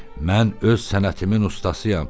Mən öz sənətimin ustasıyam.